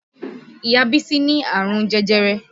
Ìyá bísí ní àrùn jẹjẹrẹ